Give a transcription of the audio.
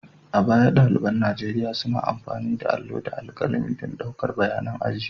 A baya, ɗaliban Nigeriya suna amfani da allo da alƙalami don ɗaukan bayanan aji.